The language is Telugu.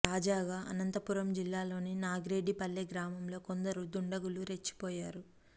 తాజాగా అనంతపురం జిల్లాలోని నాగిరెడ్డి పల్లె గ్రామంలో కొందరు దుండగులు రెచ్చిపోయారు